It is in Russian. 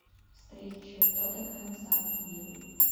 встреча тоттенхэм с астон виллой